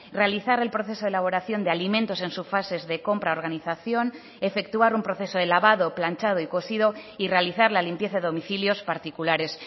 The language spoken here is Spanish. realizar el proceso de elaboración de alimentos en su fases de compra organización efectuar un proceso de lavado planchado y cosido y realizar la limpieza de domicilios particulares